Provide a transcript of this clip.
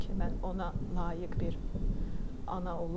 mən ona layiq bir ana olub,